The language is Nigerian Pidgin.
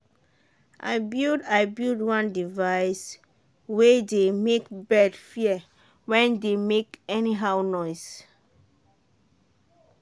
i build i build one device way dey make bird fear when dey make anyhow noise.